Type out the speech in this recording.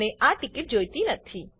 મને આ ટીકીટ જોઈતી નથી